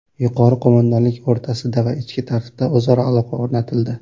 Yuqori qo‘mondonlik o‘rtasida va ichki tartibda o‘zaro aloqa o‘rnatildi.